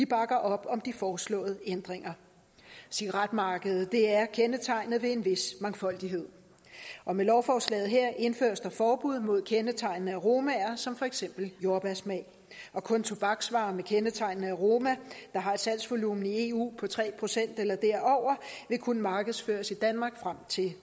bakker op om de foreslåede ændringer cigaretmarkedet er kendetegnet ved en vis mangfoldighed og med lovforslaget her indføres der forbud mod kendetegnende aromaer som for eksempel jordbærsmag kun tobaksvarer med kendetegnende aroma der har et salgsvolumen i eu på tre procent eller derover vil kunne markedsføres i danmark frem til